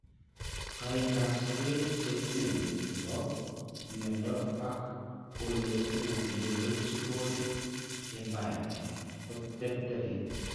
Kaindoap sobet, che uuen che po mnyeindo ak ole uu neurological impairement ko terteren.